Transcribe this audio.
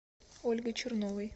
ольгой черновой